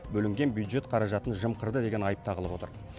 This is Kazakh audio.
бөлінген бюджет қаражатын жымқырды деген айып тағылып отыр